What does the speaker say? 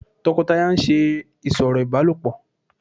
tọkọtaya ń ṣe ìsọ̀rọ̀ ibálopọ